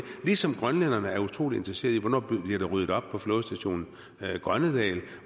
ligesom grønland er utrolig interesseret i hvornår der bliver ryddet op på flådestation grønnedal